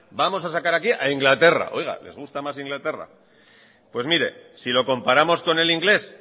vamos a sacar aquí a inglaterra les gusta más inglaterra pues mire si lo comparamos con el inglés